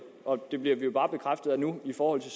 og det bliver vi jo bare i forhold til